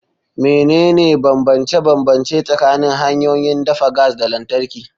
Menene bambance-bambance tsakanin hanyoyin dafa gas da lantarki?